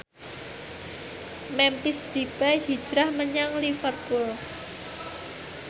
Memphis Depay hijrah menyang Liverpool